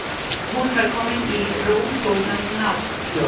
Hún var komin í rósóttan náttkjól.